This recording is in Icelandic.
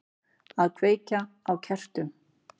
Að kveikja á kertum.